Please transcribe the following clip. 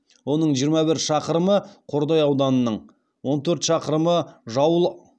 оның жиырма бір шақырымы қордай ауданының он төрт шақырымы